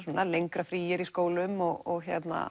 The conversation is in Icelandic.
lengra frí er í skólum og